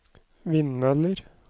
vindmøller